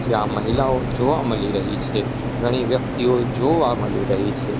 જ્યાં મહિલાઓ જોવા મલી રહી છે ઘણી વ્યક્તિઓ જોવા મલી રહી છે.